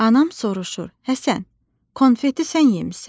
Anam soruşur: "Həsən, konfeti sən yemisan?"